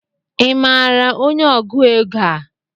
I maara onye ọgụ égo a?